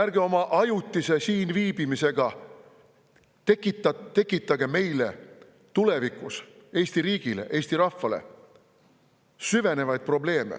Ärge oma ajutise siinviibimisega tekitage meile, Eesti riigile ja Eesti rahvale tulevikus süvenevaid probleeme.